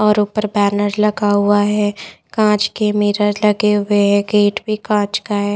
और ऊपर बैनर लगा हुआ हैं कांच के मिरर लगे है गेट भी कांच का हैं ।